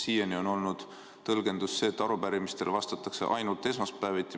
Siiani on olnud tõlgendus selline, et arupärimistele vastatakse ainult esmaspäeviti.